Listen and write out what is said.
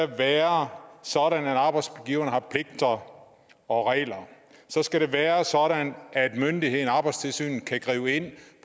være sådan at arbejdsgiverne har pligter og regler så skal det være sådan at myndigheden arbejdstilsynet kan gribe ind